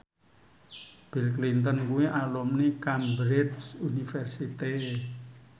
Bill Clinton kuwi alumni Cambridge University